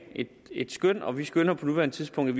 et skøn og vi skønner på nuværende tidspunkt